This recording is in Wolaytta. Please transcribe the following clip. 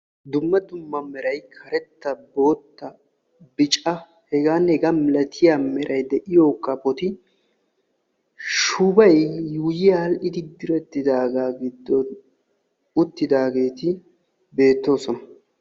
Dumma dumma meray karettanne bootta meray de'iyo kafotti shubay diretti uttidaaga giddon beetosonna.